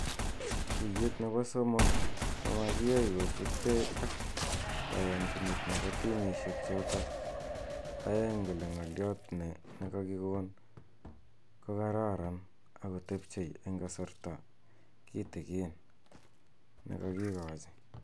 Tuyet nebo somok ko makiyai kosubgei ak kayanchinet nebo timishek chotok a'eng kole ng'alyot ne kakikon ko kararan akotebchei eng kasrta kitikin ne kokikochi.